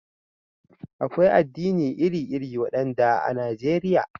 Akwai addinai iri-iri, waɗanda a Najeriya.